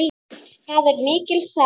Það er mikil saga.